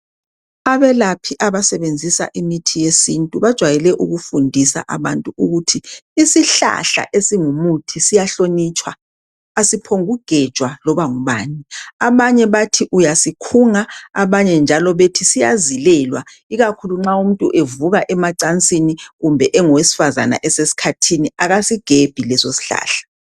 Abelaphi abasebenzisa imithi yesintu bajwayele ukufundisa abantu ukuthi isihlahla esingumuthi siyahlonitshwa, asiphongu kugejwa loba ngubani. Abanye bathi uyasikhunga, abanye njalo bethi siyazilelwa ikakhulu nxa umuntu evuka emacansini kumbe engowesifazana esesikhathini akasigebhi leso sihlahla.